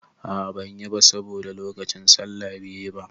A a banyi ba saboda lokacin sallah be yi ba.